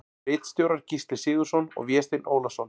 Ritstjórar Gísli Sigurðsson og Vésteinn Ólason.